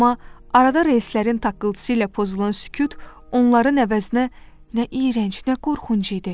Amma arada relslərin taqqıltısı ilə pozulan sükut onların əvəzinə nə iyrənc, nə qorxunc idi.